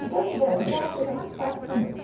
Então, engravidar era a coisa mais fácil do mundo.